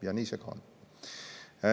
Ja nii see ka on.